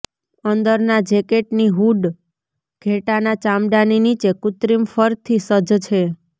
અંદરના જેકેટની હૂડ ઘેટાંના ચામડાની નીચે કૃત્રિમ ફરથી સજ્જ છે